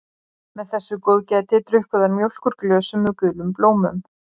Með þessu góðgæti drukku þær mjólk úr glösum með gulum blómum.